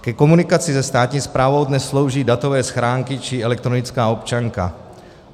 Ke komunikaci se státní správou dnes slouží datové schránky či elektronická občanka.